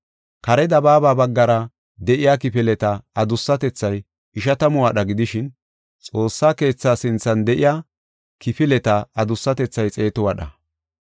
Kare dabaaba baggara de7iya kifileta adussatethay ishatamu wadha gidishin, Xoossa keethaa sinthan de7iya kifileta adussatethay xeetu wadha.